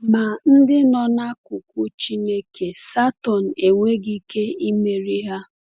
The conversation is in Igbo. Ma ndị nọ n’akụkụ Chineke, Satọn enweghị ike imeri ha.